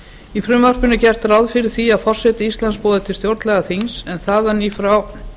í frumvarpinu er gert ráð fyrir því að forseti íslands boði til stjórnlagaþings en þaðan í frá